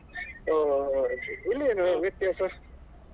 ಹೋ ಹೋ ಹೋ okay ಇಲ್ಲಿಯೆನ್ ವ್ಯತ್ಯಾಸ?